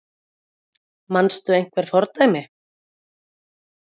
Kristjana: Manstu einhver fordæmi?